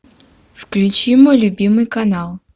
включи мой любимый канал